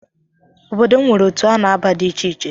Obodo m nwere otu a na-aba di icheiche